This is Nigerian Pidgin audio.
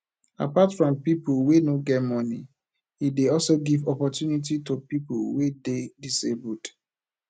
apart from pipo wey no get get moni e de also give opportunity to pipo wey de disabled